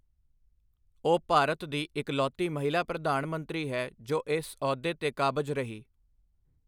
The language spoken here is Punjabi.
ਉਹ ਭਾਰਤ ਦੀ ਇਕਲੌਤੀ ਮਹਿਲਾ ਪ੍ਰਧਾਨ ਮੰਤਰੀ ਹੈ ਜੋ ਇਸ ਅਹੁਦੇ 'ਤੇ ਕਾਬਜ਼ ਰਹੀ।